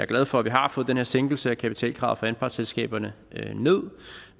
glad for at vi har fået den her sænkelse af kapitalkravet for anpartsselskaberne